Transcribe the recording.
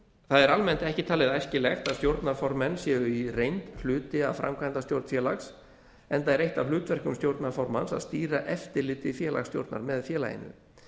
það er almennt ekki talið æskilegt að stjórnarformenn séu í reynd hluti af framkvæmdastjórn félags enda er eitt af hlutverkum stjórnarformanns að stýra eftirliti félagsstjórnar með félaginu